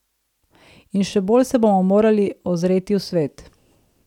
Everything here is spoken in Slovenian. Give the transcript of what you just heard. In še bolj se bomo morali ozreti v svet.